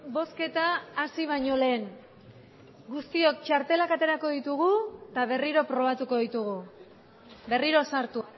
bozketa hasi baino lehen guztiok txartelak aterako ditugu eta berriro probatuko ditugu berriro sartu